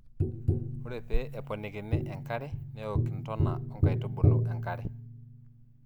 ore pee eponikini enkare neok intona oo nkaitubu enkare